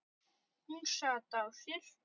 Hún sat á sér.